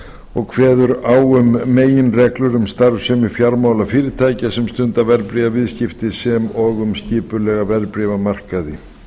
og kveður á um meginreglur um starfsemi fjármálafyrirtækja sem stunda verðbréfaviðskipti sem og um skipulega verðbréfamarkaði